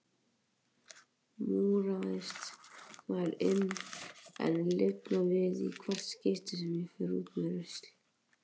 Múraðist þar inni en lifnar við í hvert skipti sem ég fer út með rusl.